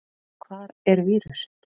Hvar er vírusinn?